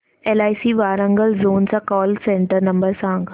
LIC Warangal zone चा call centre number सांग